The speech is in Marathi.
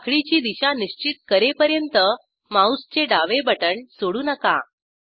साखळीची दिशा निश्चित करेपर्यंत माऊसचे डावे बटण सोडू नका